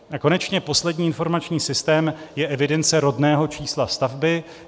A konečně poslední informační systém je evidence rodného čísla stavby.